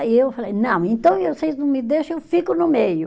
Aí eu falei, não, então vocês não me deixam, eu fico no meio.